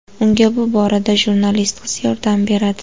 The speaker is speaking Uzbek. Unga bu borada jurnalist qiz yordam beradi.